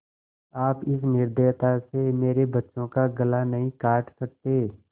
आप इस निर्दयता से मेरे बच्चों का गला नहीं काट सकते